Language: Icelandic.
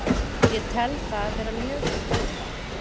Ég tel það vera mjög til bóta